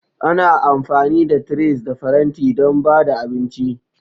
Ana amfani da trays da faranti don ba da abinci.